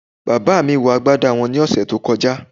Bàbá mi wọ agbádá wọn ní ọ̀sẹ̀ tó kọjá